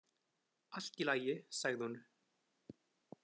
Allt í lagi, sagði hún.